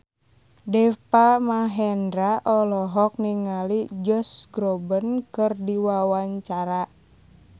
Deva Mahendra olohok ningali Josh Groban keur diwawancara